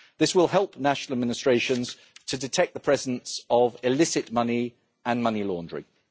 This will help national administrations to detect the presence of illicit money and money laundering.